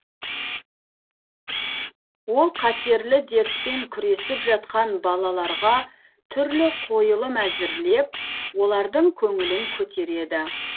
ол қатерлі дертпен күресіп жатқан балаларға түрлі қойылым әзірлеп олардың көңілін көтереді